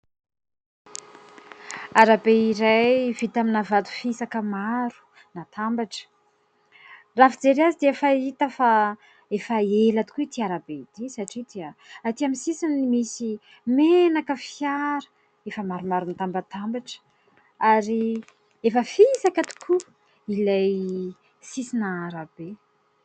Arabe iray vita amina vato fisaka maro natambatra. Raha ny fijery azy dia efa hita fa efa ela tokoa ity arabe ity, satria dia aty amin'ny sisiny misy menaka fiara efa maromaro mitambatambatra ary efa fisaka tokoa ilay sisin'arabe.